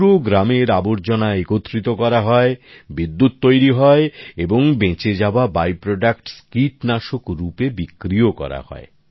পুরো গ্রামের আবর্জনা একত্রিত করা হয় বিদ্যুৎ তৈরি হয় এবং বেঁচে যাওয়া অবশিষ্টাংশ কীটনাশক হিসেবে বিক্রিও করা হয়